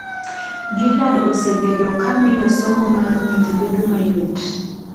Gillard osebedo ka miyo somo mar nyiri bedo mayot.